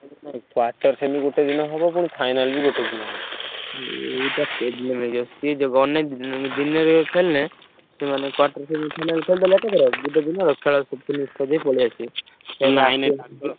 Quarter semi ଗୋଟେଦିନ ହବ ପୁଣି final ବି ଗୋଟେଦିନ ହବ ଏଇଟା problem ହେଇଯିବ ସିଏ ଗଲେ ଦିନରେ ଖେଳିଲେ quarter semi